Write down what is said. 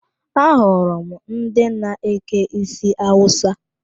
Ahụrụ m ndị na-eke isi Awusa.